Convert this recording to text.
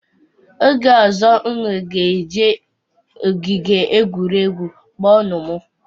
Oge ozo, unu ga eje ogige egwuregwu, kpo nụ m